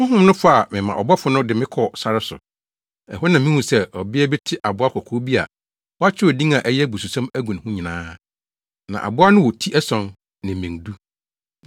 Honhom no faa me ma ɔbɔfo no de me kɔɔ sare so. Ɛhɔ na mihuu sɛ ɔbea bi te aboa kɔkɔɔ bi a wɔakyerɛw din a ɛyɛ abususɛm agu ne ho nyinaa. Na aboa no wɔ ti ason, ne mmɛn du.